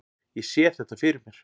Ég sé þetta fyrir mér.